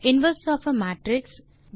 inverse of a matrix